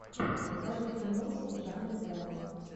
покажи киношку в жанре драма